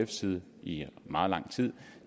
side i meget lang tid